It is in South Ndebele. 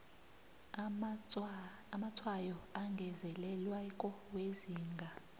amatshwayo angezelelweko wezinga